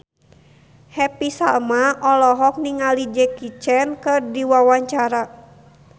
Happy Salma olohok ningali Jackie Chan keur diwawancara